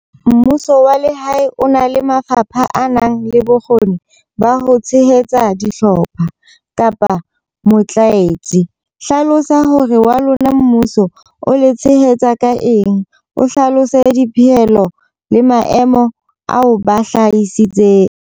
Mmuso wa lehae o na le mafapha a nang le bokgoni ba ho tshehetsa dihlopha, kapa motlatsi. Hlalosa hore wa lona mmuso o le tshehetsa ka eng. O hlalose dipehelo le maemo ao ba hlahisitseng.